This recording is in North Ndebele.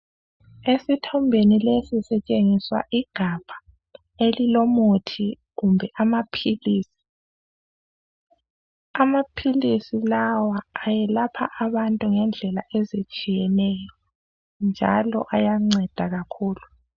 Esithombeni lesi sitshengiswa igabha elilomuthi kumbe amaphilisi. Amaphilisi lawa ayelapha abantu ngendlela ezitshiyeneyo njalo ayanceda kakhulu.